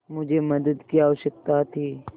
मुझे मदद की आवश्यकता थी